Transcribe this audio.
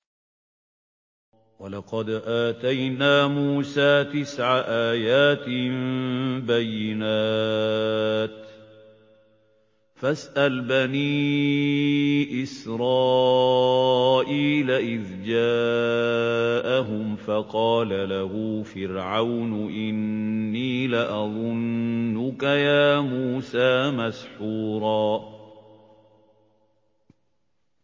وَلَقَدْ آتَيْنَا مُوسَىٰ تِسْعَ آيَاتٍ بَيِّنَاتٍ ۖ فَاسْأَلْ بَنِي إِسْرَائِيلَ إِذْ جَاءَهُمْ فَقَالَ لَهُ فِرْعَوْنُ إِنِّي لَأَظُنُّكَ يَا مُوسَىٰ مَسْحُورًا